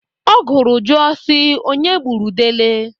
Ọ gụrụ jụọ si, "Onye gburu dele?"